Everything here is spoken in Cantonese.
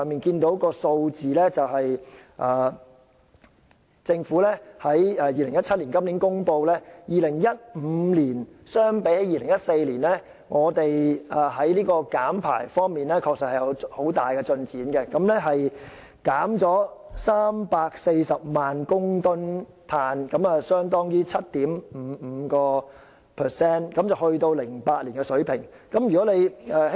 根據政府今年公布的數據 ，2015 年與2014年相比，香港在減排方面確實取得很大進展，共減少排放340萬公噸二氧化碳，相當於整體的 7.55%， 回到2008年的水平。